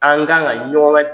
An k'an ka ɲɔgɔn